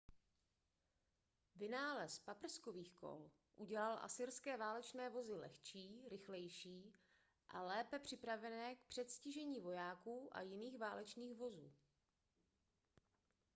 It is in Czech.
vynález paprskových kol udělal asyrské válečné vozy lehčí rychlejší a lépe připravené k předstižení vojáků a jiných válečných vozů